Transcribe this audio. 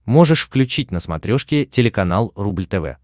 можешь включить на смотрешке телеканал рубль тв